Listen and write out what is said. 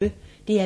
DR P1